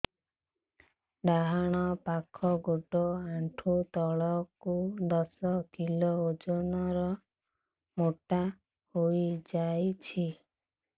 ଡାହାଣ ପାଖ ଗୋଡ଼ ଆଣ୍ଠୁ ତଳକୁ ଦଶ କିଲ ଓଜନ ର ମୋଟା ହେଇଯାଇଛି